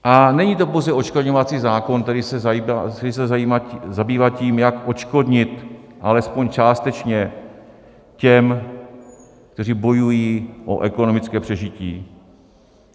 A není to pouze odškodňovací zákon, který se zabývá tím, jak odškodnit alespoň částečně těm, kteří bojují o ekonomické přežití.